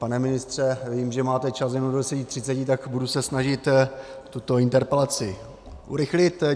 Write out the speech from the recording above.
Pane ministře, vím, že máte čas jenom do 10.30, tak se budu snažit tuto interpelaci urychlit.